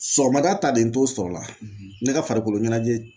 Sɔgɔmada ta de n t'o sɔrɔ la ne ka farikolo ɲɛnajɛ